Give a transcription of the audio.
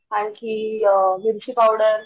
आणकी मिर्ची पावडर